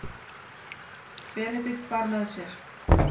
Benedikt bar með sér.